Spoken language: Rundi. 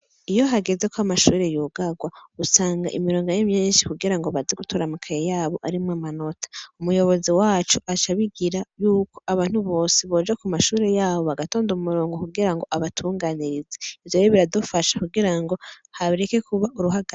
Iyo hagezeko amashure yugarwa , usanga imirongo ari myinshi kugirango baze gutora amakaye yabo arimwo amanota. umuyobozi wacu aca abigira yuko abantu bose boja kumashuri yabo bagatonda umurongo kugirango abatunganirize. ivyo rero biradufasha kugirango hareke kuba uruhaga